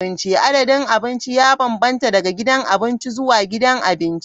Adadin abinci ya bambanta daga gidan abinci zuwa gidan abinci.